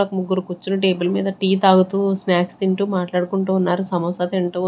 ముగ్గురు కూర్చొని టేబల్ మీద టి తాగుతూ స్నాక్స్ తింటూ మాట్లాడుకుంటూ ఉన్నారు సమోసా తింటూ.